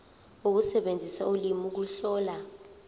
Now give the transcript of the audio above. ukusebenzisa ulimi ukuhlola